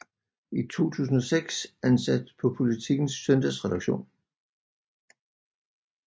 I 2006 ansat på Politikens søndagsredaktion